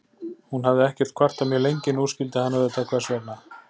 Hún hafði ekkert kvartað mjög lengi, nú skildi hann auðvitað hvers vegna.